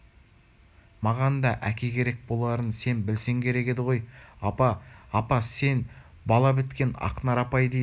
маған да әке керек боларын сен білсең керек еді ғой апа апа сені бала біткен ақнар апай дейді